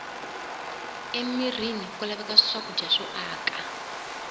emirini ku laveka swakudya swo aka